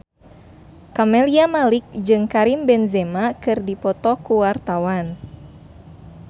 Camelia Malik jeung Karim Benzema keur dipoto ku wartawan